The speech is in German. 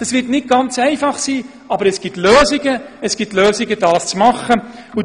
Das wäre nicht ganz einfach, aber es gibt Lösungen, wie man dies machen könnte.